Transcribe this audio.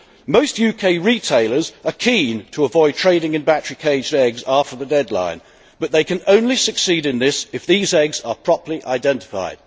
Most UK retailers are keen to avoid trading in battery caged eggs after the deadline, but they can only succeed in this if these eggs are properly identified.